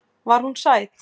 Var hún sæt?